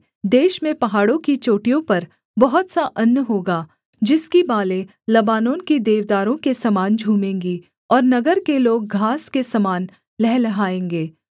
देश में पहाड़ों की चोटियों पर बहुत सा अन्न होगा जिसकी बालें लबानोन के देवदारों के समान झूमेंगी और नगर के लोग घास के समान लहलहाएँगे